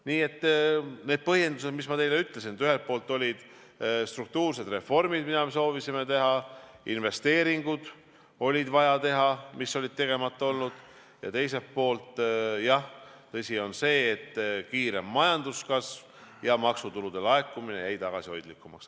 Nii et need on need põhjendused, mis ma teile ütlesin, et ühelt poolt olid struktuursed reformid, mida me soovisime teha, investeeringuid oli vaja teha, mis olid tegemata olnud, ja teiselt poolt jah, tõsi on see, et oli kiirem majanduskasv ja maksutulude laekumine jäi tagasihoidlikumaks.